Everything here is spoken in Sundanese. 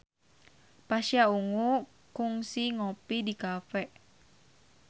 Pasha Ungu kungsi ngopi di cafe